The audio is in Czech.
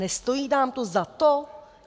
Nestojí vám to za to?